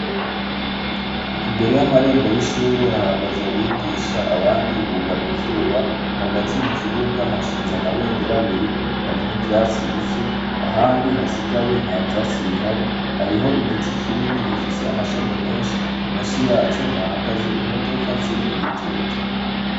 Imbere y’amarembo y’ishure, hahagaze abigisha, abandi bugamye izuba. Hagati mu kibuga, hashinze amabendera abiri. Hari ni vyatsi bike, ahandi hasigaye nta vyatsi bihari. Hariho igiti kinini gifise amashami menshi, musi yaco hahagaze imodoka ziri mu gitutu.